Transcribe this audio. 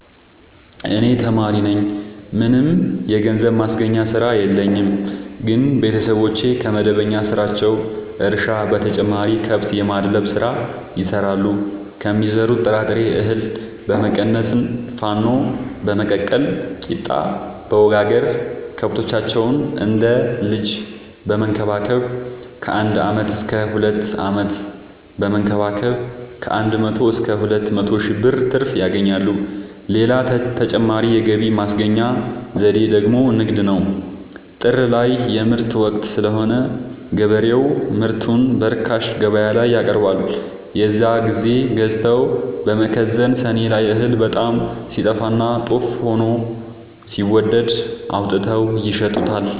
እኔ ተማሪነኝ ምንም የገንዘብ ማስገኛ ስራ የለኝም ግን ቤተሰቦቼ ከመደበኛ ስራቸው እርሻ በተጨማሪ ከብት የማድለብ ስራ ይሰራሉ ከሚዘሩት ጥራጥሬ እሀል በመቀነስ ንፋኖ በመቀቀል ቂጣበወጋገር ከብቶቻቸውን እንደ ልጅ በመከባከብ ከአንድ አመት እስከ ሁለት አመት በመንከባከብ ከአንድ መቶ እስከ ሁለት መቶ ሺ ብር ትርፍ ያገኛሉ። ሌላ ተጨማሪ የገቢ ማስገኛ ዘዴ ደግሞ ንግድ ነው። ጥር ላይ የምርት ወቅት ስለሆነ ገበሬው ምርቱን በርካሽ ገበያላይ ያቀርባል። የዛን ግዜ ገዝተው በመከዘን ሰኔ ላይ እህል በጣም ሲጠፋና ጦፍ ሆኖ ሲወደድ አውጥተው ይሸጡታል።